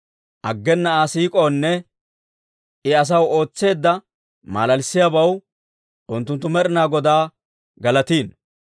Aggena Aa siik'oonne, I asaw ootseedda malalissiyaabaw, unttunttu Med'inaa Godaa galatino.